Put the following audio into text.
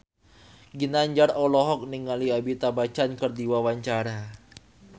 Ginanjar olohok ningali Amitabh Bachchan keur diwawancara